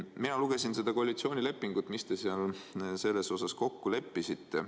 Mina lugesin koalitsioonilepingust, mis te seal selles osas kokku leppisite.